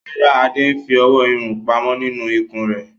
No, Ade is saving hios money in his belly